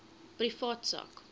privaat sak